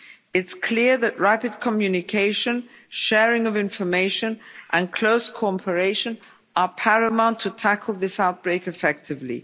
It's clear that rapid communication, sharing of information and close cooperation are paramount to tackle this outbreak effectively.